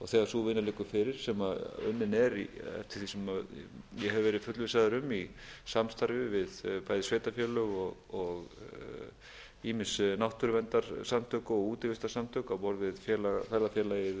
þegar sú vinna liggur fyrir sem unnin er eftir því sem ég hef verið fullvissaður um í samstarfi við bæði sveitarfélög og ýmis náttúruverndarsamtök og útivistarsamtök á borð við ferðafélagið